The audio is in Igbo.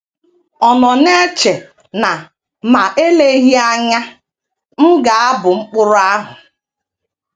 Ọ̀ nọ na - eche na ma eleghị anya n ga - abụ Mkpụrụ ahụ?